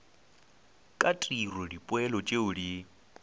ka tiro dipoelo tšeo di